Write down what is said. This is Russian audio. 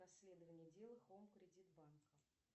расследование дела хоум кредит банка